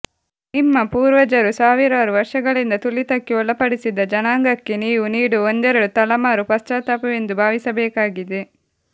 ನಿಮ್ಮ ಪೂರ್ವಜರು ಸಾವಿರಾರು ವರ್ಷಗಳಿಂದ ತುಳಿತಕ್ಕೆ ಒಳಪಡಿಸಿದ ಜನಾಂಗಕ್ಕೆ ನೀವು ನೀಡುವ ಒಂದೆರಡು ತಲಮಾರು ಪಶ್ಚಾತಾಪವೆಂದು ಭಾವಿಸಬೇಕಾಗಿದೆ